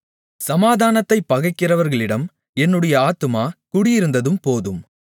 சமாதானத்தைப் பகைக்கிறவர்களிடம் என்னுடைய ஆத்துமா குடியிருந்ததும் போதும்